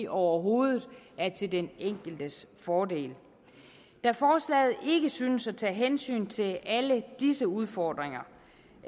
overhovedet er til den enkeltes fordel da forslaget ikke synes at tage hensyn til alle disse udfordringer